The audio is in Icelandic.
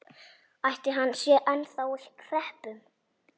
Ætli hann sé ennþá á hreppnum?